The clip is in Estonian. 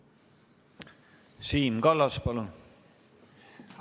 Siim Kallas, palun!